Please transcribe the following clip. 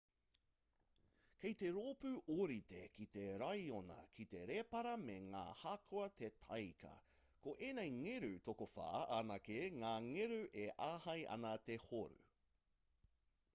kei te roopu ōrite ki te raiona ki te rēpara me ngā hākua te tāika ko ēnei ngeru tokowhā anake ngā ngeru e āhei ana te horu